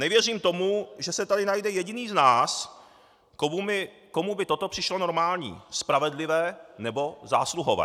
Nevěřím tomu, že se tady najde jediný z nás, komu by toto přišlo normální, spravedlivé nebo zásluhové.